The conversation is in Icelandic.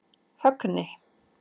Högni